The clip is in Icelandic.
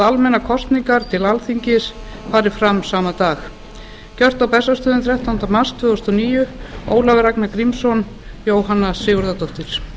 almennar kosningar til alþingis fari fram sama dag gert á bessastöðum fimmtánda mars tvö þúsund og níu ólafur ragnar grímsson jóhanna sigurðardóttir